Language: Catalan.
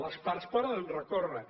les parts hi poden recórrer